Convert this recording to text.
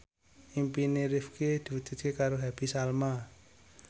impine Rifqi diwujudke karo Happy Salma